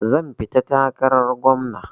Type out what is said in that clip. Zan fita takarar gwamna.